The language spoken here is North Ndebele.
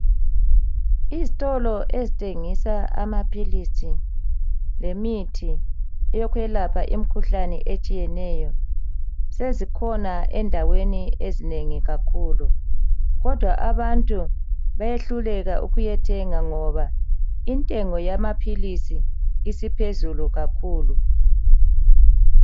Izitolo ezithengisa amaphilisi lemithi yokwelapha imikhuhlane etshiyeneyo sezikhona endaweni ezinengi kakhulukodwa abantu bayehluleka ukuyathenga ngoba intengo yamaphilisi isiphezulu kakhulu.